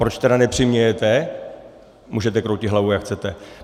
Proč tedy nepřimějete - můžete kroutit hlavou jak chcete.